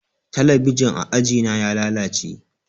Talabijin a ajina ya lalace